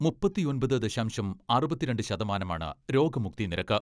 മുപ്പത്തിയൊമ്പത് ദശാംശം അറുപത്തിരണ്ട് ശതമാനമാണ് രോഗമുക്തി നിരക്ക്.